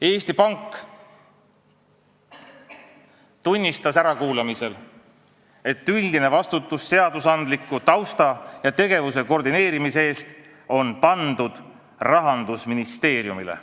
Eesti Pank tunnistas ärakuulamisel, et üldine vastutus seadusandliku tausta ja tegevuse koordineerimise eest on pandud Rahandusministeeriumile.